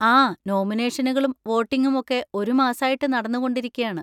ആ, നോമിനേഷനുകളും വോട്ടിങ്ങും ഒക്കെ ഒരു മാസായിട്ട് നടന്നുകൊണ്ടിരിക്കയാണ്.